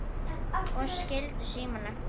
Og skildi símann eftir?